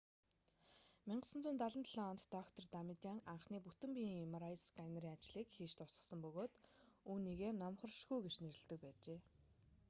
1977 онд доктор дамадиан анхны бүтэн биеийн mri сканерын ажлыг хийж дуусгасан бөгөөд үүнийгээ номхоршгүй гэж нэрлэдэг байжээ